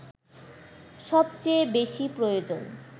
সবচেয়ে বেশি প্রয়োজন